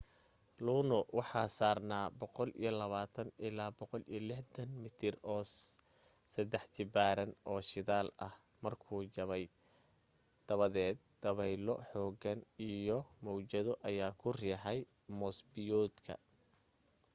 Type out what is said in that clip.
luno waxa saarnaa 120-160 mitir oo saddex jibaaran oo shidaal ah markuu jabay dabadeed dabaylo xooggan iyo mawjado ayaa ku riixay moos-biyoodka